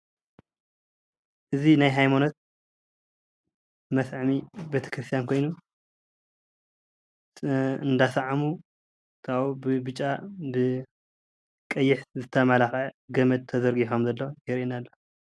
እዚ ናይ ሃይማኖት መስዐሚ ቤተክርስትያን ኾይኑ እንዳሰዓሙ ብብጫ፣ ቀይሕ ዝተመለኸዐ ገመድ ተዘርጊሑ ከም ዘሎ ይርአየና ኣሎ።